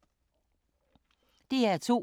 DR2